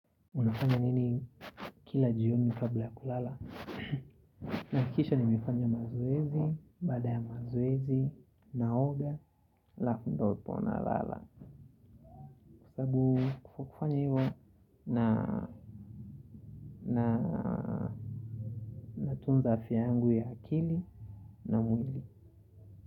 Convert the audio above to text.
Unafanya nini kila jioni kabla ya kulala. Nahakikisha nimefanya mazoezi, baada ya mazoezi, naoga, alafu ndopo nalala. Kufanya hivyo natunza afia yangu ya akili na mwili.